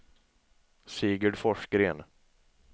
Sigurd Forsgren